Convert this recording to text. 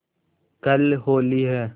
कल होली है